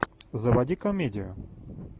заводи комедию